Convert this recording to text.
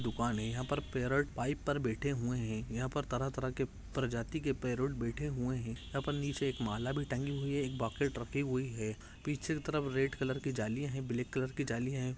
दुकान है यहाँ पर पैरेट पाईप पर बैठे हुए है यहाँ पे तरह तरह के प्रजाति के पैरेट बैठे हुए है यहाँ पर नीचे एक माला भी तंगी हुई है एक बकेट रखी हुई है पीछे की तरफ रेड कलर की जाली है ब्लेक कलर की जालिया हैं।